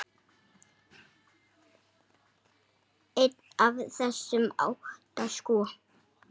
Einn af þessum átta, sko.